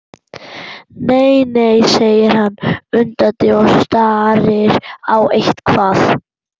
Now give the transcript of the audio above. Nei, nei, segir hann undandi og starir á eitthvað.